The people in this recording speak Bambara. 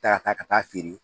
Ta ka taa feere